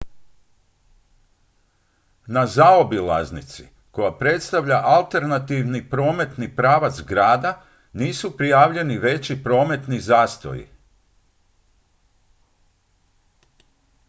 na zaobilaznici koja predstavlja alternativni prometni pravac grada nisu prijavljeni veći prometni zastoji